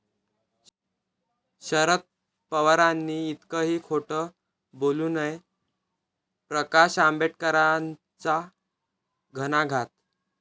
शरद पवारांनी इतकंही खोटं बोलू नये, प्रकाश आंबेडकरांचा घणाघात